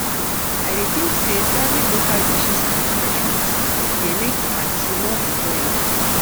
I dey think say serving local dishes and refreshments dey make di party more enjoyable.